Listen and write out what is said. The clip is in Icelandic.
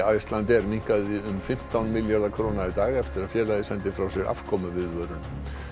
Icelandair minnkaði um fimmtán milljarða króna í dag eftir að félagið sendi frá sér afkomuviðvörun